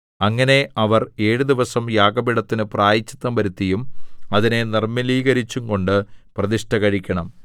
അങ്ങനെ അവർ ഏഴു ദിവസം യാഗപീഠത്തിന് പ്രായശ്ചിത്തം വരുത്തിയും അതിനെ നിർമ്മലീകരിച്ചുംകൊണ്ട് പ്രതിഷ്ഠ കഴിക്കണം